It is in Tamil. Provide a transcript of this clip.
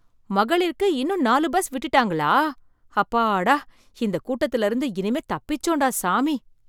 மகளிர்க்கு இன்னும் நாலு பஸ் விட்டுட்டாங்களா? அப்பாடா இந்த கூட்டத்துல இருந்து இனிமே தப்பிச்சோம்டா சாமி.